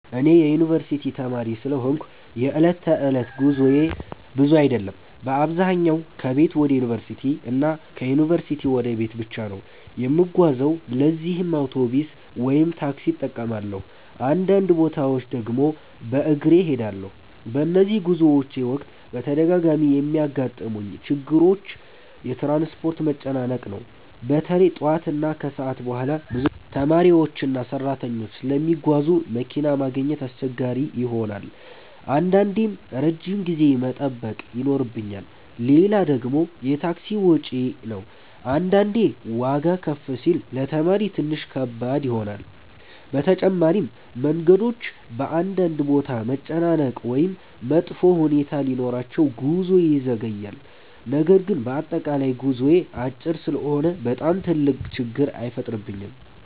እኔ የዩንቨርሲቲ ተማሪ ስለሆንኩ የዕለት ተዕለት ጉዞዬ ብዙ አይደለም። በአብዛኛው ከቤት ወደ ዩንቨርሲቲ እና ከዩንቨርሲቲ ወደ ቤት ብቻ ነው የምጓዘው ለዚህም አውቶቡስ ወይም ታክሲ እጠቀማለሁ፣ አንዳንድ ቦታዎች ድግም በግሬ እሄዳለሁ። በነዚህ ጉዞዎቼ ወቅት በተደጋጋሚ የሚያጋጥሙኝ ችግሮች የትራንስፖርት መጨናነቅ ነው። በተለይ ጠዋት እና ከሰዓት በኋላ ብዙ ተማሪዎችና ሰራተኞች ስለሚጓዙ መኪና ማግኘት አስቸጋሪ ይሆናል አንዳንዴም ረጅም ጊዜ መጠበቅ ይኖርብኛል። ሌላ ደግሞ የታክሲ ወጪ ነው አንዳንዴ ዋጋ ከፍ ሲል ለተማሪ ትንሽ ከባድ ይሆናል። በተጨማሪም መንገዶች በአንዳንድ ቦታ መጨናነቅ ወይም መጥፎ ሁኔታ ሲኖራቸው ጉዞ ይዘገያል። ነገር ግን በአጠቃላይ ጉዞዬ አጭር ስለሆነ በጣም ትልቅ ችግር አይፈጥርብኝም።